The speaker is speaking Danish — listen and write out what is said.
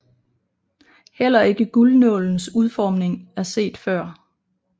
Heller ikke guldnålens udformning er set før